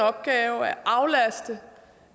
opgave at aflaste